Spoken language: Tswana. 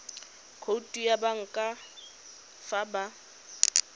khoutu ya banka fa ba